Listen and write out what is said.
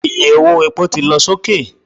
Iye owó epo ti lọ sókè